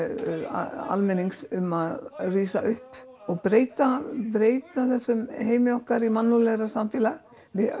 almennings um að rísa upp og breyta breyta þessum heimi okkar í mannúðlegra samfélag